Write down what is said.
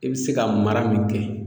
E be se ka mara min kɛ